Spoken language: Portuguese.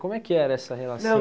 Como é que era essa relação?